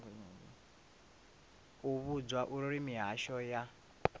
u vhudzwa uri mihasho ya